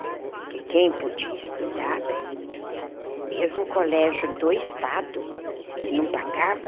Porque quem podia estudar bem, mesmo o colégio do Estado, que não pagava,